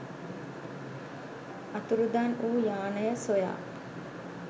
අතුරුදන් වූ යානය සොයා